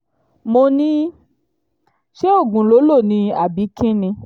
mo ní ṣé oògùn ló lò lò ni àbí kín ni